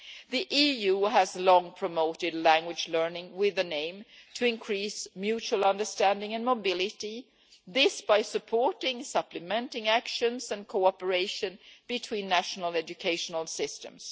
The EU has long promoted language learning with an aim to increase mutual understanding and mobility, this by supporting supplementing actions and cooperation between national educational systems.